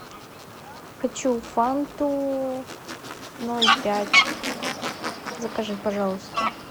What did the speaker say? хочу фанту ноль пять закажи пожалуйста